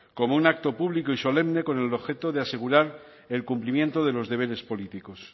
como un acto público y solemne con el objeto de asegurar el cumplimiento de los deberes políticos